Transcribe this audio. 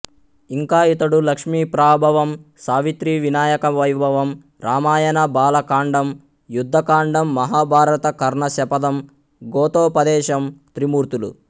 ఇంకా ఇతడు లక్ష్మీప్రాభవం సావిత్రి వినాయకవైభవం రామాయణ బాలకాండం యుద్ధకాండం మహాభారత కర్ణశపథం గోతోపదేశం త్రిమూర్తులు